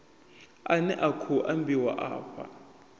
ane a khou ambiwa afha